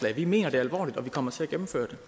at vi mener det alvorligt og vi kommer til at gennemføre